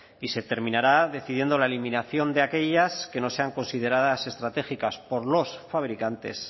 y se terminará decidiendo la eliminación de aquellas que no sean consideradas estratégicas por los fabricantes